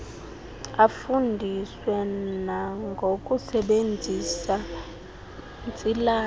afundiswe nangokusebenzisa ntsilathi